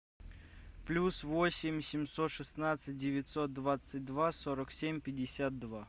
плюс восемь семьсот шестнадцать девятьсот двадцать два сорок семь пятьдесят два